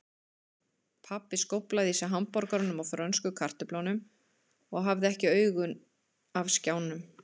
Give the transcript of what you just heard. Pabbi skóflaði í sig hamborgaranum og frönsku kartöflunum og hafði ekki augun af skjánum.